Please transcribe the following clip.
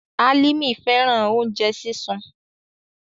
Alimi fẹran ounjẹ sisun